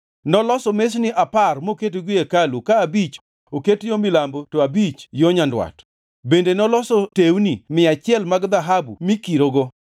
Noloso mesni apar moketogi e hekalu, ka abich oket yo milambo to abich yo nyandwat. Bende noloso tewni mia achiel mag dhahabu mikirogo.